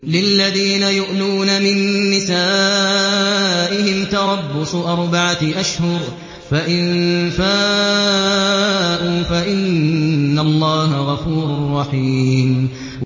لِّلَّذِينَ يُؤْلُونَ مِن نِّسَائِهِمْ تَرَبُّصُ أَرْبَعَةِ أَشْهُرٍ ۖ فَإِن فَاءُوا فَإِنَّ اللَّهَ غَفُورٌ رَّحِيمٌ